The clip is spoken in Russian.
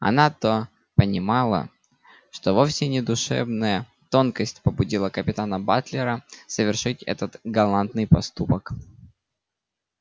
она-то понимала что вовсе не душевная тонкость побудила капитана батлера совершить этот галантный поступок